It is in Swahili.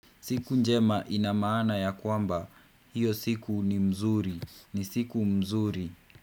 Siku njema inamaana ya kwamba hiyo siku ni mzuri. Ni siku mzuri.